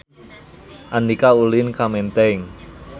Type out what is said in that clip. Andika ulin ka Menteng